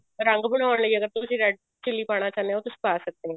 ਰੰਗ ਬਣਾਉਣ ਲਈ ਅਗਰ ਤੁਸੀਂ red chili ਪਾਉਣਾ ਚਾਹੁੰਦੇ ਹੋ ਤੁਸੀਂ ਪਾ ਸਕਦੇ ਓ